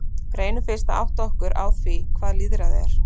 Reynum fyrst að átta okkur á því hvað lýðræði er.